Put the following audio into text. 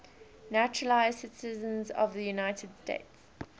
naturalized citizens of the united states